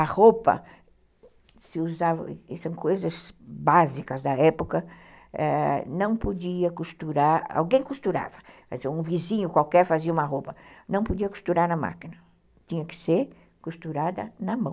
A roupa se usava, são coisas básicas da época, é... não podia costurar, alguém costurava, um vizinho qualquer fazia uma roupa, não podia costurar na máquina, tinha que ser costurada na mão.